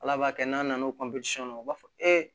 Ala b'a kɛ n'an nana o na u b'a fɔ